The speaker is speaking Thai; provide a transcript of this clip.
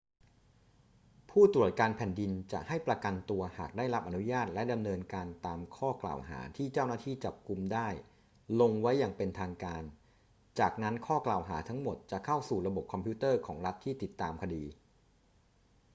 ผู้ตรวจการแผ่นดินจะให้ประกันตัวหากได้รับอนุญาตและดำเนินการตามข้อกล่าวหาที่เจ้าหน้าที่จับกุมได้ลงไว้อย่างเป็นทางการ จากนั้นข้อกล่าวหาทั้งหมดจะเข้าสู่ระบบคอมพิวเตอร์ของรัฐที่ติดตามคดี